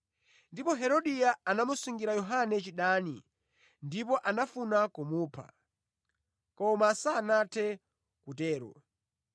Ndipo Herodia anamusungira Yohane chidani ndipo anafuna kumupha, koma sanathe kutero,